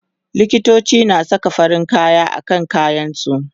likitoci na Saka farin kaya akan kayan su